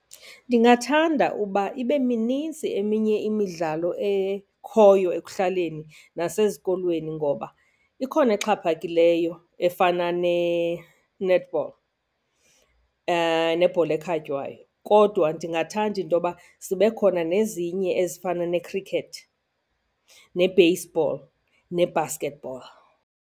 Ndingathanda uba ibe minintsi eminye imidlalo ekhoyo ekuhlaleni nasezikolweni ngoba ikhona exhaphakileyo efana ne-netball nebhola ekhatywayo. Kodwa ndingathanda intoyoba zibe khona nezinye ezifana ne-cricket, ne-baseball, ne-basketball.